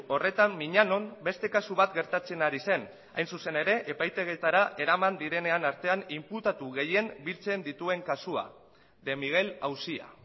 horretan miñanon beste kasu bat gertatzen ari zen hain zuzen ere epaitegietara eraman direnean artean inputatu gehien biltzen dituen kasua de miguel auzia